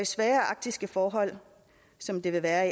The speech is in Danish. svære arktiske forhold som det vil være